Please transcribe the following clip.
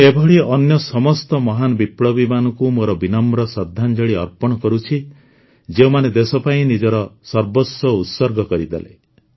ମୁଁ ଏଭଳି ଅନ୍ୟ ସମସ୍ତ ମହାନ ବିପ୍ଳବୀମାନଙ୍କୁ ମୋର ବିନମ୍ର ଶ୍ରଦ୍ଧାଞ୍ଜଳି ଅର୍ପଣ କରୁଛି ଯେଉଁମାନେ ଦେଶ ପାଇଁ ନିଜର ସର୍ବସ୍ୱ ଉତ୍ସର୍ଗ କରିଦେଲେ